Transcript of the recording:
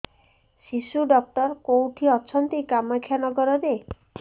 ଶିଶୁ ଡକ୍ଟର କୋଉଠି ଅଛନ୍ତି କାମାକ୍ଷାନଗରରେ